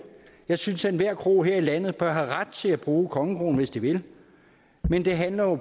jeg synes at enhver kro her i landet bør have ret til at bruge kongekronen hvis de vil men det handler jo